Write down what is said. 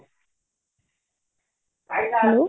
hello